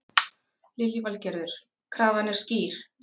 Lillý Valgerður: Krafan er skýr?